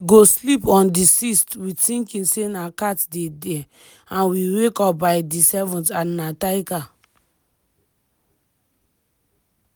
we go sleep on di 6th wit tinking say na cat dey dia and we wake up by di 7th and na tiger".